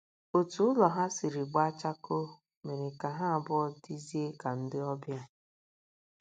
Otú ụlọ ha sizi gbaa chakoo mere ka ha abụọ dịzie ka ndị ọbịa.